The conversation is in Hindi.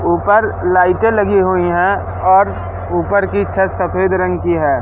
ऊपर लाइटें लगी हुई हैं और ऊपर की छत सफेद रंग की हैं।